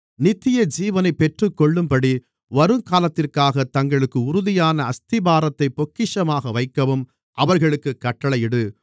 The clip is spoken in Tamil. நித்தியஜீவனைப் பெற்றுக்கொள்ளும்படி வருங்காலத்திற்காகத் தங்களுக்கு உறுதியான அஸ்திபாரத்தைப் பொக்கிஷமாக வைக்கவும் அவர்களுக்குக் கட்டளையிடு